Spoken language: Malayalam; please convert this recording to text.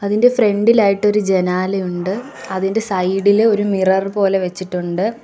ഇതിന്റെ ഫ്രണ്ട്‌ ഇലായിട്ട് ഒരു ജനാലയുണ്ട് അതിൻറെ സൈഡ് ഇൽ ഒരു മിറർ പോലെ വെച്ചിട്ടുണ്ട്.